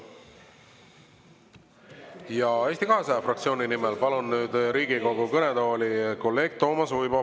Ja Eesti 200 fraktsiooni nimel palun nüüd Riigikogu kõnetooli kolleeg Toomas Uibo.